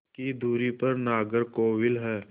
की दूरी पर नागरकोविल है